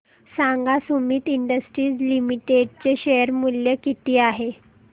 सांगा Sumeet industries limited चे share मूल्य किती आहे